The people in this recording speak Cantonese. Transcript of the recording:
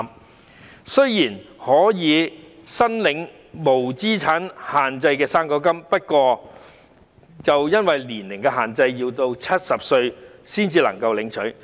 他們雖然可以申領無資產限制的"生果金"，但因為年齡限制，要到70歲才能領取。